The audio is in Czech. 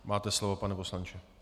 Máte slovo, pane poslanče.